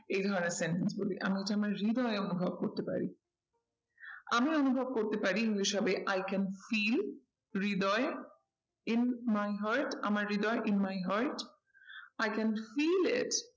এই ধরনের sentence বলি এমন কি আমার হৃদয়ে অনুভব করতে পারি। আমি অনুভব করতে পারি ওই হিসাবে i can feel হৃদয় in my heart আমার হৃদয়ে in my heart i can feel it